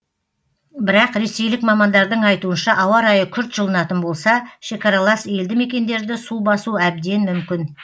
бірақ ресейлік мамандардың айтуынша ауа райы күрт жылынатын болса шекаралас елді мекендерді су басу әбден мүмкін